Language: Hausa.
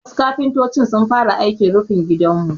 Wasu kafintoci sun fara aikin rufin gidanmu.